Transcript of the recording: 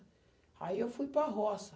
Aí eu fui para a roça.